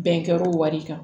Bɛnkɔro wari kan